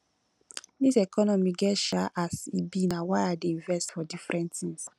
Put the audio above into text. dis economy get um as e be na why i dey invest for different tins